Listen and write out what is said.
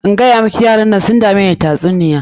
In gayamiki yaran nan sun dameni da tatsuniyar na.